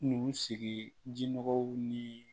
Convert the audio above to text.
Nusigi ji jinɔgɔw ni